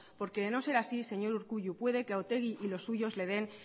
porque de no ser así señor urkullu puede que a otegi y los suyos le den